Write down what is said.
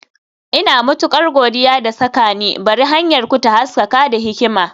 Ina matukar godiya da saka ni, Bari hanyarku ta haskaka da hikima.